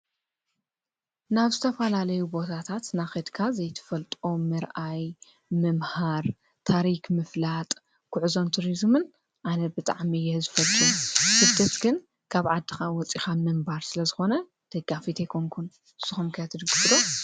ናብ ዝተፈላለዩ ቦታታት እናኸድካ ዘይትፈልጦ ምርኣይ፣ ምምሃር፣ ታሪክ ምፍላጥ፣ ጉዕዞን ቱሪዝምን ኣነ ብጣዕሚ እየ ዝፈቱ፡፡ ስደት ግን ካብ ዓድኻ ወፂእኻ ምንባር ስለ ዝኾነ ደጋፊት ኣይኮንኩን። ንስኹም ከ ትድግፉ ዶ?